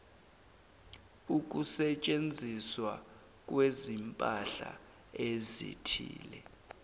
ukusetshenziswa kwezimpahla ezithile